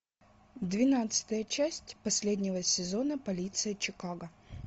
двенадцатая часть последнего сезона полиция чикаго